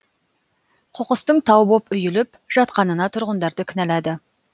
қоқыстың тау боп үйіліп жатқанына тұрғындарды кінәлады